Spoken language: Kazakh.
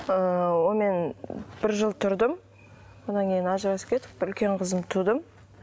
ыыы онымен бір жыл тұрдым одан кейін ажырасып кетіп үлкен қызымды тудым